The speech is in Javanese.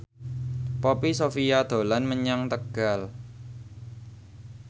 Poppy Sovia dolan menyang Tegal